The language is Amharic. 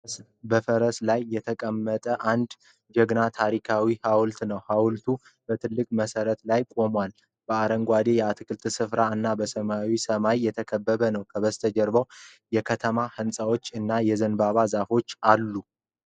በፈረስ ላይ የተቀመጠ አንድ ጀግና ታሪካዊ ሐውልት ነው። ሐውልቱ በትልቅ መሠረት ላይ ቆሟል፤ በአረንጓዴ የአትክልት ስፍራ እና በሰማያዊ ሰማይ የተከበበ ነው። ከበስተጀርባ የከተማ ህንፃዎች እና የዘንባባ ዛፍ አለ።